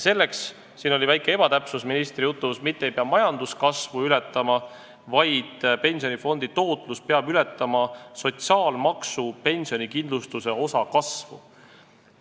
Selleks – siin oli ministri jutus väike ebatäpsus – ei pea majanduskasvu ületama, vaid pensionifondi tootlus peab ületama sotsiaalmaksu pensionikindlustuse osa kasvu.